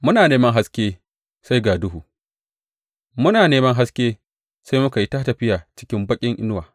Muna neman haske, sai ga duhu; muna neman haske, sai muka yi ta tafiya cikin baƙin inuwa.